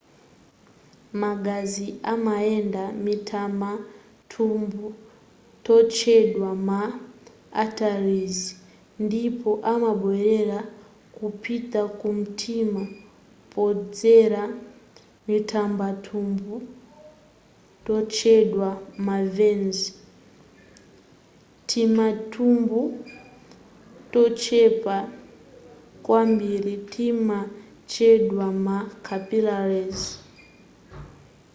magazi amayenda mutimathyubu totchedwa ma arteries ndipo amabwelera kupita ku mtima podzera mtimathyubu totchedwa ma veins timathyubu tochepa kwambiri timatchedwa ma capillaries